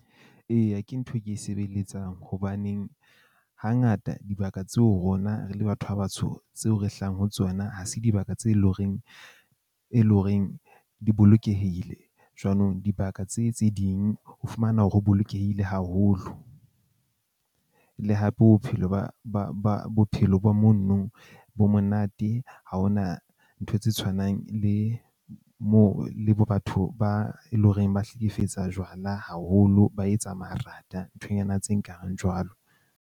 Eya, ke ntho e ke e sebeletsang. Hobaneng hangata dibaka tseo rona re le batho ba batsho tseo re hlahang ho tsona, ha se dibaka tse leng horeng e leng horeng di bolokehile. Jwanong dibaka tse tse ding ho fumana hore ho bolokehile haholo. Le hape bophelo ba ba ba bophelo ba mono bo monate. Ha hona ntho tse tshwanang le moo le bo batho ba eleng horeng ba hlekefetsa jwala haholo, ba etsa marata nthonyana tse nkareng jwalo.